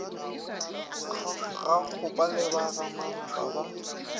gakgopa le ba gamampa ba